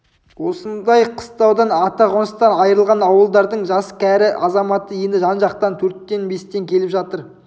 осындай қыстаудан ата қоныстан айрылған ауылдардың жас кәрі азаматы енді жан-жақтан төрттен-бестен келіп жатыр